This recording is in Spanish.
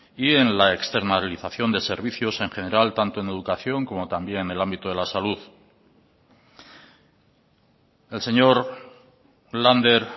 y en la externalización de servicios en general tanto en educación como también en el ámbito de la salud el señor lander